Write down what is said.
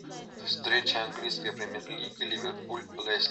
встреча английской премьер лиги ливерпуль лестер